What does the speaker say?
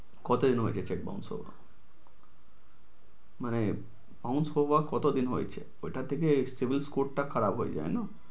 কতদিন হয়েছে check bounce হওয়া, মানে bounce হওয়া কদিন হয়েছে, ওইটা থেকে savils code টা খারাপ হয়ে যায় জানো